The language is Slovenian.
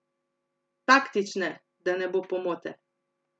Taktične, da ne bo pomote!